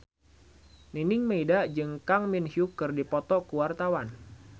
Nining Meida jeung Kang Min Hyuk keur dipoto ku wartawan